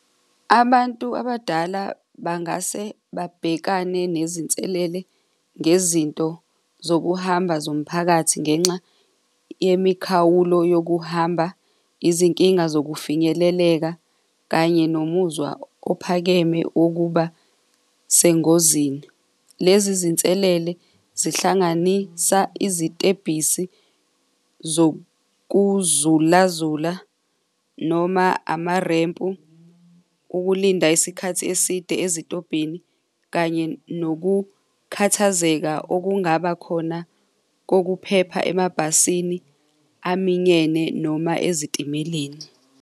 Abantu abadala bangase babhekane nezinselele ngezinto zokuhamba zomphakathi ngenxa yemikhawulo yokuhamba, izinkinga zokufinyeleleka, kanye nomuzwa ophakeme okuba sengozini. Lezi zinselele zihlanganisa izitebhisi zokuzulazula noma amarempu, ukulinda isikhathi eside, ezitobhini kanye nokukhathazeka okungaba khona kokuphepha emabhasini aminyene noma ezitimeleni.